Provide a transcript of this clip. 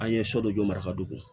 An ye so dɔ jɔra ka don